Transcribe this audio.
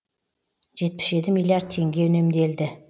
жетпіс жеті миллиард теңге үнемделді